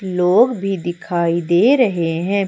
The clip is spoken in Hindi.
लोग भी दिखाई दे रहे हैं।